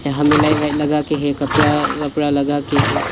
हमें light white लगे के हैं कपड़ा वोपड़ा लगा के है।